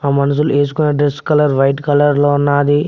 మనుషులు ఏసుకొని dress colour white colour లో ఉన్నది.